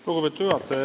Lugupeetud juhataja!